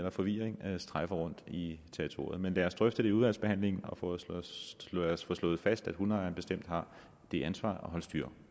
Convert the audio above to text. af forvirring strejfer rundt i territoriet men lad os drøfte det i udvalgsbehandlingen og få slået slået fast at hundeejeren bestemt har det ansvar at holde styr